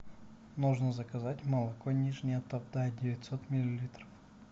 нужно заказать молоко нижняя тавда девятьсот миллилитров